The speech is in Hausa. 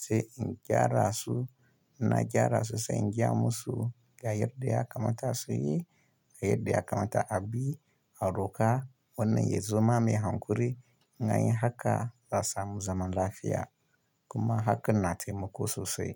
sai in gyara su. Na gyara su sai in gaya musu ga yarda ya kamata su yi, ga yarda ya kamata a bi, a roƙa wannan ya zama mai hankuri. Na yi haka za a samu zaman lafiya kuma haka na taimako sosai.